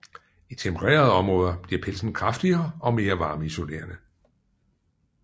I tempererede områder bliver pelsen kraftigere og mere varmeisolerende